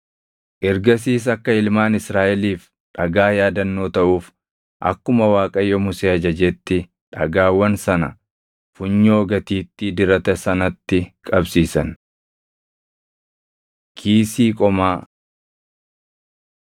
Ergasiis akka ilmaan Israaʼeliif dhagaa yaadannoo taʼuuf akkuma Waaqayyo Musee ajajetti dhagaawwan sana funyoo gatiittii dirata sanatti qabsiisan. Kiisii Qomaa 39:8‑21 kwf – Bau 28:15‑28